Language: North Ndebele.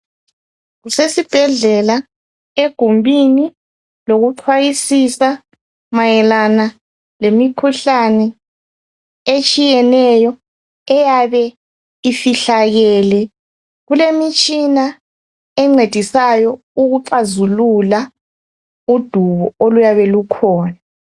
Kusesibhedlela egumbini lokucwayisisa mayelana ngemikhuhlane etshiyeneyo eyabe ifihlakele kulemitshina encedisayo ukuxazulula udubo oluyabe kukhona.